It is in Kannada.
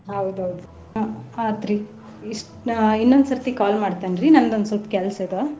ಹೌದ್ ಹೌದ್ ಹ್ಮ್‌ ಆತ್ರಿ ಇಷ್ಟ ಇನ್ನೊಂದ ಸರ್ತಿ call ಮಾಡ್ತೇನ್ರಿ ನಂದೊಂದ್ ಸ್ವಲ್ಪ ಕೆಲ್ಸ ಅದ.